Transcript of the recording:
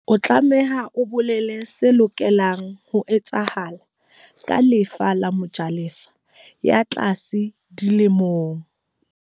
O tlameha o bolele se lokelang ho etsahala ka lefa la mojalefa ya tlase di lemong.